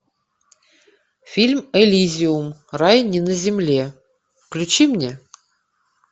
фильм элизиум рай не на земле включи мне